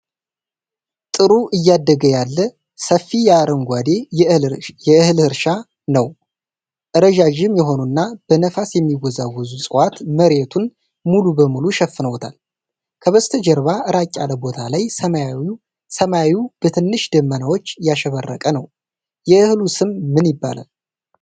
ጥሩ እያደገ ያለ፣ ሰፊ የአረንጓዴ የእህል እርሻ ነው። ረዣዥም የሆኑና በነፋስ የሚወዛወዙ እፅዋት መሬቱን ሙሉ በሙሉ ሸፍነውታል። ከበስተጀርባ ራቅ ያለ ቦታ ላይ ሰማዩ በትንሽ ደመናዎች ያሸበረቀ ነው። የእህሉ ስም ምን ይባላል?